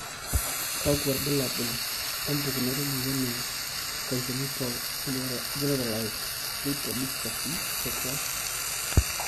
kakwa ilbulabul opukunoto emoyian e Congenital generalized lipodystrophy type 1?